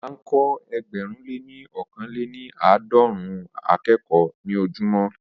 Ó máa ń kọ́ ẹgbẹ̀rún lé ní ọkàn lè ní àádọ́rùn-ún akẹ́kọ̀ọ́ ní ojojúmọ́